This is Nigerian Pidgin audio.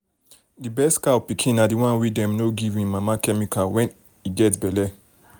the best cow pikin na the one wey dem no give em mama chemical when en get belle.